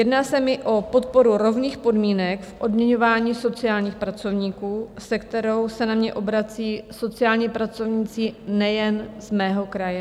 Jedná se mi o podporu rovných podmínek v odměňování sociálních pracovníků, se kterou se na mě obracejí sociální pracovníci nejen z mého kraje.